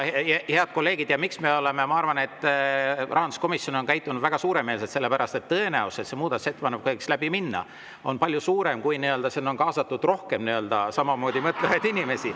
Head kolleegid, ma arvan, et rahanduskomisjon on käitunud väga suuremeelselt, sellepärast et tõenäosus, et see muudatusettepanek võiks läbi minna, on palju suurem, kui on kaasatud rohkem samamoodi mõtlevaid inimesi.